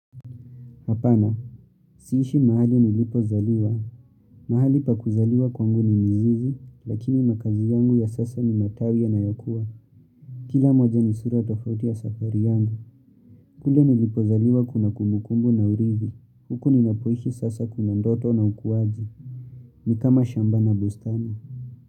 Hapana, siishi mahali nilipozaliwa. Mahali pa kuzaliwa kwangu ni mzizi, lakini makaazi yangu ya sasa ni matawi yanayokuwa. Kila moja ni sura tofauti ya safari yangu. Kule nilipozaliwa kuna kumukumbu na urithi. Huku ninapoishi sasa kuna ndoto na ukuaji. Ni kama shamba na bustani.